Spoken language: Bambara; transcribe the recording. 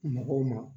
Mɔgɔw ma